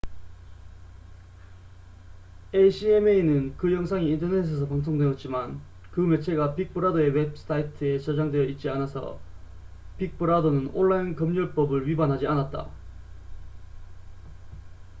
acma는 그 영상이 인터넷에서 방송되었지만 그 매체가 빅브라더의 웹사이트에 저장되어 있지 않아서 빅브라더는 온라인 검열법을 위반하지 않았다